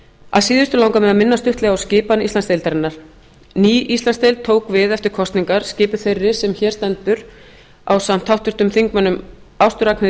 að síðustu langar mig að minna stuttlega á skipan íslandsdeildarinnar ný íslandsdeild tók við eftir kosningar skipuð þeirri sem hér stendur ásamt háttvirtum þingmönnum ástu r